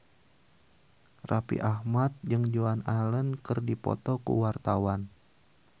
Raffi Ahmad jeung Joan Allen keur dipoto ku wartawan